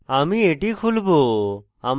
আমি এটি খুলবো